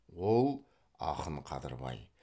ол ақын қадырбай